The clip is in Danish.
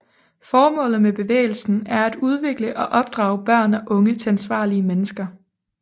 Formålet med bevægelsen er at udvikle og opdrage børn og unge til ansvarlige mennesker